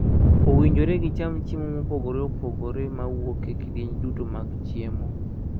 Owinjore gicham chiemo mopogore opogore ma wuok e kidieny duto mag chiemo.